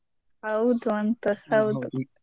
ಹೌದು ಅಂತ .